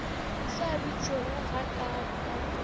sa bitšego ga kaalo ka